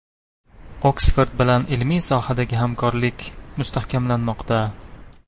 Oksford bilan ilmiy sohadagi hamkorlik mustahkamlanmoqda.